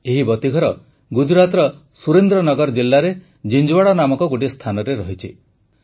ଏହି ବତୀଘର ଗୁଜରାଟର ସୁରେନ୍ଦ୍ର ନଗର ଜିଲ୍ଲାରେ ଜିଂଜୁୱାଡ଼ା ନାମକ ଗୋଟିଏ ସ୍ଥାନରେ ରହିଛି